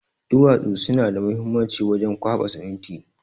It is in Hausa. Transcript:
Duwatsu suna da muhimanci wajen kwaba siminti